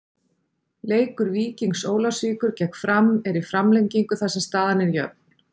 Leikur Víkings Ólafsvíkur gegn Fram er í framlengingu þar sem staðan er jöfn.